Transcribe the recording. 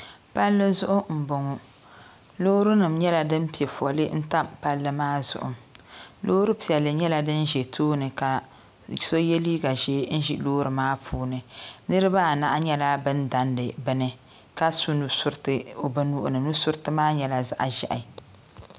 Palli zuɣu m bɔŋɔ loorinima nyɛla din pɛ fɔli n tam palli maa zuɣu loori piɛlli nyɛla din ʒɛ tooni ka so yɛ liiga ʒɛɛ n ʒi loori maa puuni niriba. anahi nyɛla bɛn dandi bini ka su nusurriti bɛ nuhi ni nusuriti maa nyɛla zaɣ ʒɛhi.